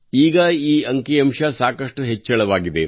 ಈಗ ಈ ಅಂಕಿ ಅಂಶ ಸಾಕಷ್ಟು ಹೆಚ್ಚಳವಾಗಿದೆ